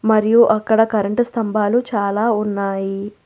మరియు అక్కడ కరెంటు స్తంభాలు చాలా ఉన్నాయి.